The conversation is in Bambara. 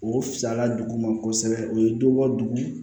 O fisayala duguma kosɛbɛ o ye dɔ bɔ dugu